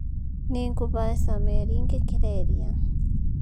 Nĩ ngũhaica meri ngĩkĩra iria